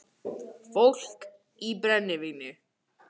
Fólk í brennivíni